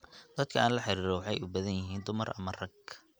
dadka aan la xiriiro waxay u badan yihiin dumar ama rag